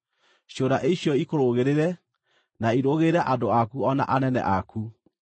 Ciũra icio ikũrũgĩrĩre na irũgĩrĩre andũ aku o na anene aku.’ ”